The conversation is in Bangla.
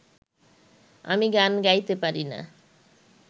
আমি গান গাইতে পারি না